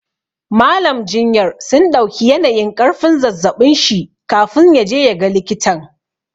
Mallam jinyar sun ɗauki yanayin ƙarfin zazzaɓin shi kafin ya je ya ga likitan.